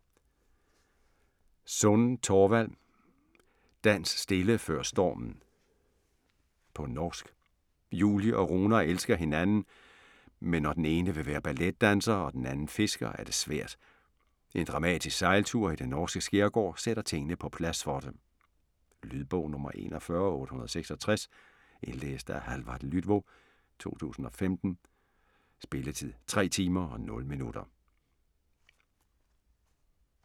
Sund, Torvald: Dans stille før stormen På norsk. Julie og Runar elsker hinanden, men når den ene vil være balletdanser og den anden fisker, er det svært. En dramatisk sejltur i den norske skærgård sætter tingene på plads for dem. Lydbog 41866 Indlæst af Hallvard Lydvo, 2015. Spilletid: 3 timer, 0 minutter.